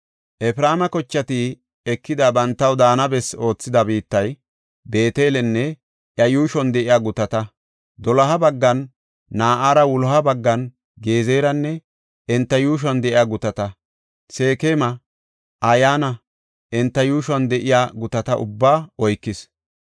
Efreema kochati ekidi bantaw daana bessi oothida biittay, Beetelenne iya yuushuwan de7iya gutata; doloha baggan Na7ara, wuloha baggan Gezeranne enta yuushuwan de7iya gutata, Seekema, Ayanne enta yuushuwan de7ya gutata ubbaa oykees.